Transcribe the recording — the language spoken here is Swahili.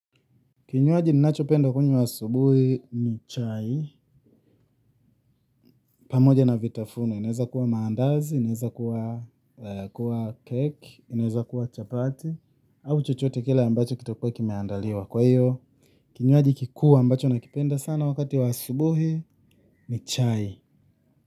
Kinywaji ninachopenda kunywa asubuhi ni chai. Pamoja na vitafunio, vinaweza kuwa maandazi, vinaweza kuwa keki, vinaweza kuwa chapati, au chochote kile ambacho kitakuwa kimeandaliwa kwa hiyo. Kinywaji kikuu ambacho nakipenda sana wakati wa asubuhi ni chai.